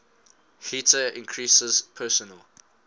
heater increases personal